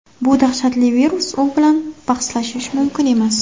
Bu dahshatli virus, u bilan bahslashish mumkin emas.